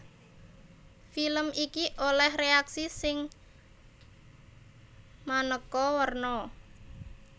Film iki olèh réaksi sing manéka werna